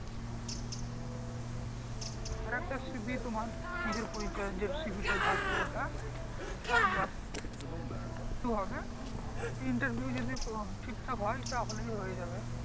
আর একটা সিভি তোমার নিজের পরিচয়ে যে সিভি টা থাকে ওটা আর বা হবে Interview যদি ঠিকঠাক হয় তাহলেই হয়ে যাবে ।